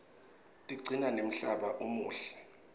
tigcina nemhlaba umuhle